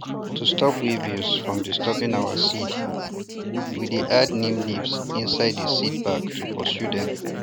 to stop weevils from disturbing our seeds we dey add neem leaves inside the seed bags to pursue dem